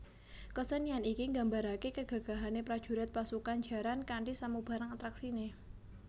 Kesenian iki nggambaraké kegagahane prajurit pasukan jaran kanthi samubarang atraksiné